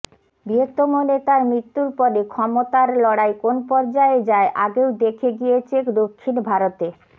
বৃহত্তম নেতার মৃত্যুর পরে ক্ষমতার লড়াই কোন পর্যায়ে যায় আগেও দেখে গিয়েছে দক্ষিণ ভারতে